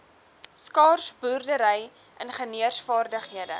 skaars boerdery ingenieursvaardighede